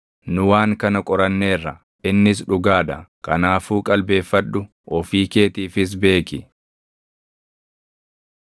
“Nu waan kana qoranneerra; innis dhugaa dha. Kanaafuu qalbeeffadhu; ofii keetiifis beeki.”